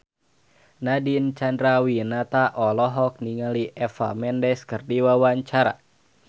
Nadine Chandrawinata olohok ningali Eva Mendes keur diwawancara